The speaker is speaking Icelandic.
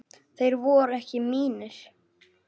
Þeir voru ekki mínir.